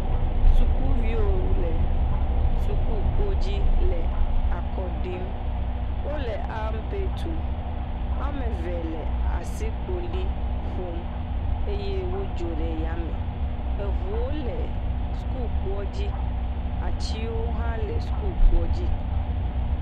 Sukuviwo le sukukodzi le akɔ ɖim. Wo le ampɛ tum. Wo ame eve le asikpoli ƒom eye wodzo ɖe yame eŋuwo le sukukpoadzi. Atiwo hã le sukukpoadzi.